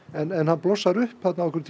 en hann blossaði upp